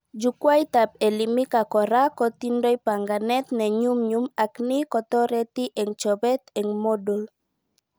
Jukwaitab Elimika kora kotindoi banganet nenyunyum ak ni kotoreti eng chobet eng Moodle